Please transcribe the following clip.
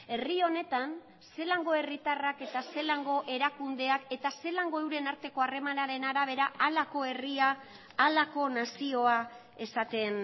herri honetan zelango herritarrak eta zelango erakundeak eta zelango euren arteko harremanaren arabera halako herria halako nazioa esaten